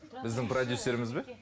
біздің продюссеріміз бе